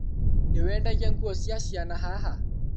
Niwendagia nguo cia ciana haha?